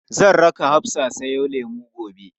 Zan raka Hafsa siyo lemu gobe.